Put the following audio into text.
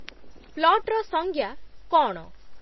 ପ୍ଲଟ୍‌'ର ସଂଜ୍ଞା କ’ଣ?